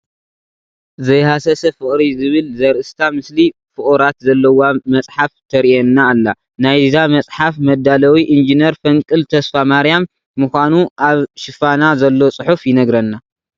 ዘይሃሰሰ ፍቕሪ ዝብል ዘርእስታ ምስሊ ፍቑራት ዘለዋ መፅሓፍ ትርአየና ኣላ፡፡ ናይዛ መፅሓፍ መዳለዊ ኢንጅነር ፈንቅል ተስፋማርያ ምዃኑ ኣብ ሽፋና ዘሎ ፅሑፍ ይነግረና፡፡